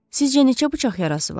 Sizcə neçə bıçaq yarası var?